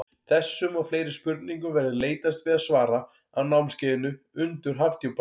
Þessum og fleiri spurningum verður leitast við að svara á námskeiðinu Undur Hafdjúpanna.